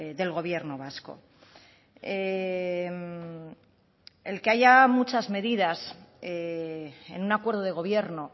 del gobierno vasco el que haya muchas medidas en un acuerdo de gobierno